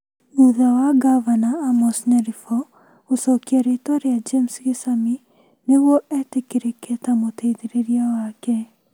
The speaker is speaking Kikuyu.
Thutha wa ngavana Amos Nyaribo gũcokia rĩĩtwa rĩa James Gesami nĩguo etĩkĩrĩke ta mũteithĩrĩria wake.